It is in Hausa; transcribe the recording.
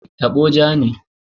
Tabo ja ne.